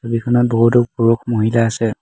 ছবিখনত বহুতো পুৰুষ-মহিলা আছে।